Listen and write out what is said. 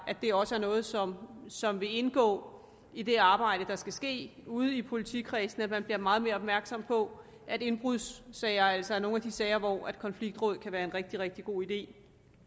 at det også er noget som som vil indgå i det arbejde der skal ske ude i politikredsene så man bliver meget mere opmærksom på at indbrudssager altså er nogle af de sager hvor konfliktråd kan være en rigtig rigtig god idé